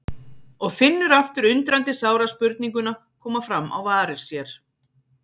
Og finnur aftur undrandi sára spurninguna koma fram á varir sér